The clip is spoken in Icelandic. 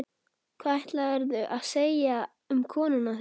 Hvað ætlaðirðu að segja um konuna þína?